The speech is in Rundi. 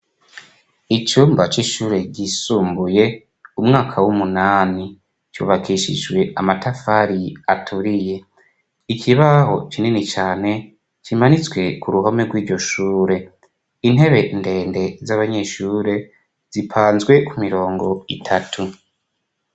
Icumba c'ishure ryisumbuye umwaka w'umunani cubakishijwe amatafari aturiye ikibaho kinini cane kimanitswe ku ruhome rw'iryo shure intebe ndende z'abanyeshure zipanzwe ku mirongo itatu.